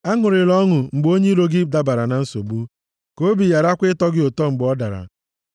Aṅụrịla ọṅụ mgbe onye iro gị dabara na nsogbu. Ka obi gharakwa ịtọ gị ụtọ mgbe ọ dara.